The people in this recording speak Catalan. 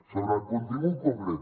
sobre el contingut concret